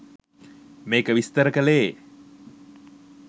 මේක විස්තර කළේ